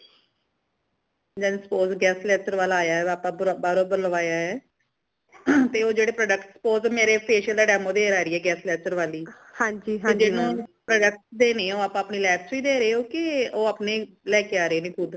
just suppose guest lecture ਵਾਲਾ ਆਯਾ ਹੈ ਆਪਾ ਬਾਹਰੋਂ ਬੁਲਵਾਇਆ ਹੈ ਤੇ ਓ ਜੇੜੇ product suppose ਮੇਰੇ facial ਦਾ demo ਦੇਣ ਆ ਰੀ ਹੈ guest lecture ਵਾਲੀ ਤੇ ਜਿਨੂੰ product ਦੇਣੇ ਅਪਣੇ lab ਚੋ ਹੀ ਦੇ ਰਏ ਹੋ ਯਾ ਓ ਅਪਣੇ ਲੈ ਕੇ ਆ ਰੇ ਨੇ ਖੁਦ।